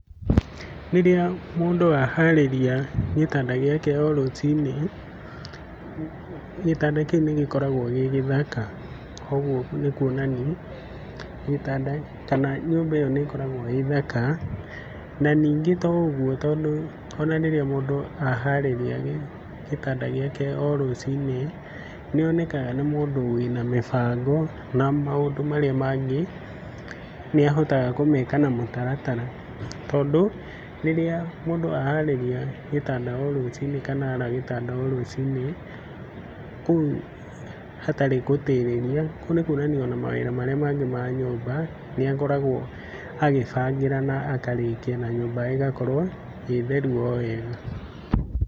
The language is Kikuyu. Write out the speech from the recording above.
Rĩrĩa mũndũ aharĩrĩria gĩtanda gĩake o rũci-inĩ gĩtanda kĩu nĩgĩkoragwo gĩ gĩthaka, koguo nĩ kuonania gĩtanda kana nyũmba ĩyo nĩkoragwo ĩ thaka, na ningĩ to ũguo tondũ, ona rĩrĩa mũndũ aharĩria gĩtanda gĩake o rũci-inĩ nĩonekaga nĩ mũndũ wĩna mũbango, na maũndũ marĩa mangĩ nĩahotaga kũmeka na mũtaratara, tondũ rĩrĩa mũndũ aharĩria gĩtanda o rũci-inĩ kana ara gĩtanda o rũci-inĩ kũu hatarĩ gũtĩrĩria, kũu nĩkwonania ona mawĩra marĩa mangĩ ma nyũmba nĩakoragwo agĩbangĩra na akarĩkia na nyũmba ĩgakorwo ĩ theru o wega.